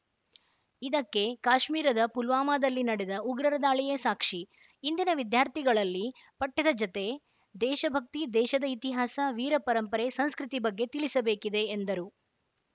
ಇದಕ್ಕೆ ಕಾಶ್ಮೀರದ ಪುಲ್ವಾಮಾದಲ್ಲಿ ನಡೆದ ಉಗ್ರರ ದಾಳಿಯೇ ಸಾಕ್ಷಿ ಇಂದಿನ ವಿದ್ಯಾರ್ಥಿಗಲ್ಲಿ ಪಠ್ಯದ ಜತೆ ದೇಶ ಭಕ್ತಿ ದೇಶದ ಇತಿಹಾಸ ವೀರ ಪರಂಪರೆ ಸಂಸ್ಕೃತಿ ಬಗ್ಗೆ ತಿಳಿಸಬೇಕಿದೆ ಎಂದರು